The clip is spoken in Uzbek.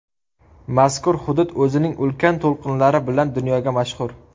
Mazkur hudud o‘zining ulkan to‘lqinlari bilan dunyoga mashhur.